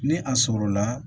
Ni a sɔrɔla